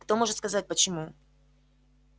кто может сказать почему